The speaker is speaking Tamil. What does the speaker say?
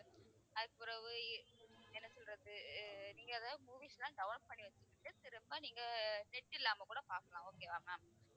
அதுக்குப் பிறகு இ~ என்ன சொல்றது அஹ் நீங்க ஏதாவது movies எல்லாம் download பண்ணி வச்சுகிட்டு திரும்ப நீங்க net இல்லாம கூடப் பார்க்கலாம் okay வா ma'am